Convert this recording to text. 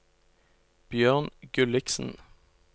Bjørn Gulliksen